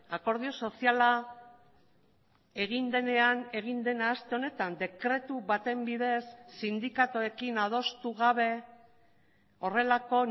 akordio soziala egin denean egin dena aste honetan dekretu baten bidez sindikatuekin adostu gabe horrelako